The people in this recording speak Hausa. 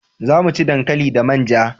Za mu ci dankali da manja